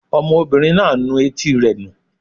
Ọmọbìnrin náà ń nu etí rẹ̀ nù